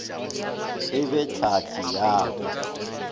e be tlhahli ya ka